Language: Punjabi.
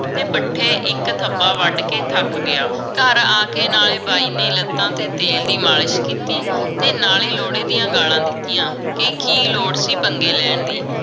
ਤੇ ਪੱਠੇ ਇਕ ਥੱਬਾ ਵੱਧ ਕੇ ਥੱਕ ਗਿਆ ਘਰ ਆਕੇ ਨਾਲ ਬਾਈ ਨੇ ਲੱਤਾਂ ਤੇ ਤੇਲ ਦੀ ਮਾਲਿਸ਼ ਕੀਤੀ ਤੇ ਨਾਲੇ ਲੋਹੜੇ ਦੀਆਂ ਗਾਲਾਂ ਦਿਤੀਆਂ ਕਿ ਕਿ ਲੋੜ ਸੀ ਪਣਗੇ ਲੈਣ ਦੀ